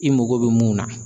I mago bɛ mun na